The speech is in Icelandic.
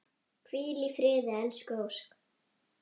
Hvíl í friði elsku Ósk.